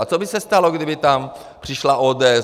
A co by se stalo, kdyby tam přišla ODS?